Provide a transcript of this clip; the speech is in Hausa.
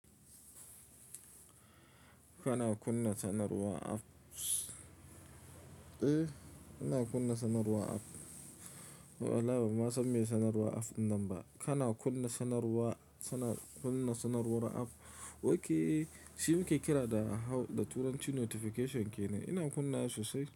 Kana kunna sanarwar app. Eh, ina kunna sanarwar app. Wallahi ba ma san me sanarwar app namba. Kana kunna sanarwa, suna kunna sanarwar app. Ok, shi muke kira da hau, da turanci notification ke ne. Ina kunna shi sosai.